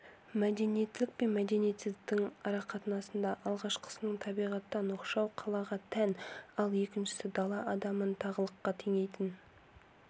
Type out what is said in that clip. мәдениеттілік пен мәдениетсіздіктің арақатынасында алғашқысының табиғаттан оқшау қалаға тән ал екіншісі дала адамын тағылыққа теңейтін